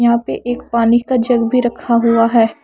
यहा पे एक पानी का जग भी रखा हुआ है ।